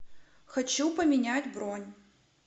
хочу поменять бронь